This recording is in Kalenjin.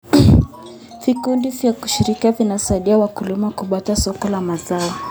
Vikundi vya ushirika vinasaidia wakulima kupata soko la mazao.